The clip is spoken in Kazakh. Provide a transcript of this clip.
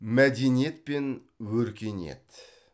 мәдениет пен өркениет